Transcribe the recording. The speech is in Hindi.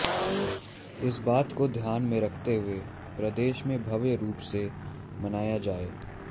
इस बात को धान्य में रखते हुए प्रदेश में भव्य रूप से मनाया जाये